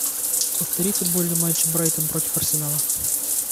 повтори футбольный матч брайтон против арсенала